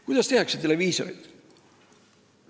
Kuidas tehakse televisiooni?